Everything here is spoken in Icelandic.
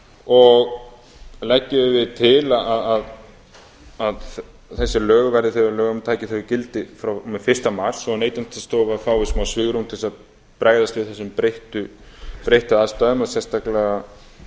og leggjum við til að þessi lög verði þau að lögum taki gildi frá og með fyrsta mars svo að neytendastofa fái smá svigrúm til þess að bregðast við þessum breyttu aðstæðum og sérstaklega